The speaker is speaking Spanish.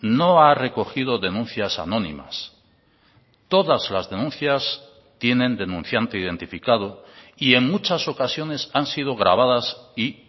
no ha recogido denuncias anónimas todas las denuncias tienen denunciante identificado y en muchas ocasiones han sido grabadas y